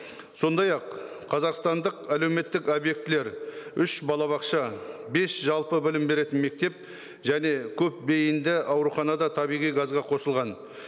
сондай ақ қазақстандық әлеуметтік объектілер үш балабақша бес жалпы білім беретін мектеп және көпбейінді аурухана да табиғи газға қосылған